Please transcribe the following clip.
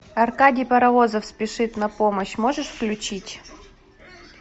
аркадий паровозов спешит на помощь можешь включить